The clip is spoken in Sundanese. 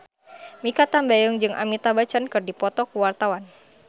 Mikha Tambayong jeung Amitabh Bachchan keur dipoto ku wartawan